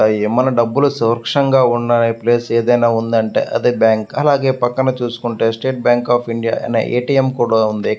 మన డబ్బులు సురక్షంగా ఉన్న ప్లేస్ ఏదైనా ఉందంటే అది బ్యాంక్ . అలాగే పక్కనే ఎస్టేట్ బ్యాంక్ ఆఫ్ ఇండియా అనే ఏ _టి _ఎం కూడా ఉంది.